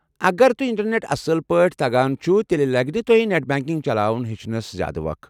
اگر تۄہہِ انٹرنٮ۪ٹ اصٕل پٲٹھۍ تگان چُھ، تیلہِ لگہِ نہٕ تۄہہِ نٮ۪ٹ بنٛکنٛگ چلاوُن ہیٚچھنس زیٛادٕ وخ۔